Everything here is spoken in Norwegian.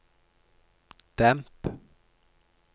demp